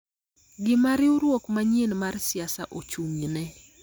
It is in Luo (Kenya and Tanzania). gima riwruok manyien mar siasa ochung�ne,